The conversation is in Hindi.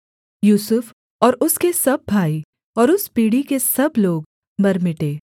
यूसुफ और उसके सब भाई और उस पीढ़ी के सब लोग मर मिटे